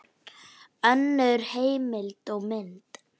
Önnur heimild og mynd